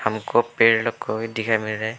हमको पेड़ कोई दिखाई मिल--